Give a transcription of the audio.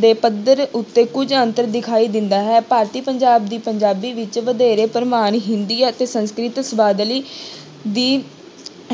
ਦੇ ਪੱਧਰ ਉੱਤੇ ਕੁੱਝ ਅੰਤਰ ਦਿਖਾਈ ਦਿੰਦਾ ਹੈ ਭਾਰਤੀ ਪੰਜਾਬ ਦੀ ਪੰਜਾਬੀ ਵਿੱਚ ਵਧੇਰੇ ਪ੍ਰਮਾਣੀ ਹਿੰਦੀ ਅਤੇ ਸੰਸਕ੍ਰਿਤ ਸ਼ਬਦਾਵਲੀ ਦੀ